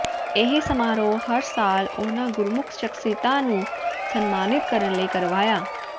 ਇਹ ਸਮਾਰੋਹ ਹਰ ਸਾਲ ਉਨ੍ਹਾਂ ਗੁਰਸਿੱਖ ਸ਼ਖਸੀਅਤਾਂ ਨੂੰ ਸਨਮਾਨਿਤ ਕਰਨ ਲਈ ਕਰਵਾਇਆ